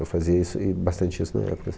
Eu fazia isso e, bastante isso na época,